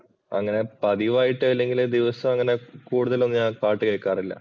അങ്ങനെ പതിവായിട്ട് അല്ലെങ്കില് ദിവസവും അങ്ങനെ കൂടുതലും ഞാൻ പാട്ട് കേക്കാറില്ല.